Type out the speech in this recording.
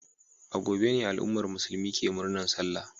A gobe ne al'ummar musulmi ke murnar Sallah.